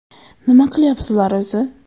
Nima qilyapsizlar o‘zi?